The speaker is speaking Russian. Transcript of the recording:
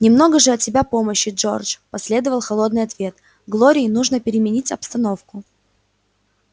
немного же от тебя помощи джордж последовал холодный ответ глории нужно переменить обстановку